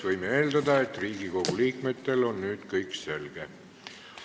Võime eeldada, et Riigikogu liikmetele on nüüd kõik selge.